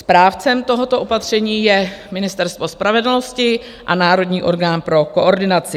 Správcem tohoto opatření je Ministerstvo spravedlnosti a národní orgán pro koordinaci.